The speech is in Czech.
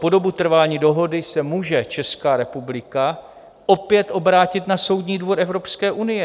Po dobu trvání dohody se může Česká republika opět obrátit na Soudní dvůr Evropské unie.